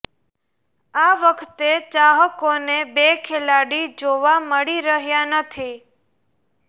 આ વખતે ચાહકોને બે ખેલાડી જોવા મળી રહ્યા નથી